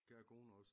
Kære kone også